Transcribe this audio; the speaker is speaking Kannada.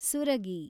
ಸುರಗಿ